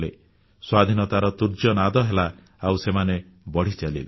ସ୍ୱାଧୀନତାର ତୂର୍ଯ୍ୟନାଦ ହେଲା ଆଉ ସେମାନେ ବଢ଼ି ଚାଲିଲେ